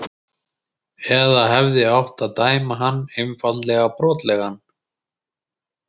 Eða hefði átt að dæma hann einfaldlega brotlegan?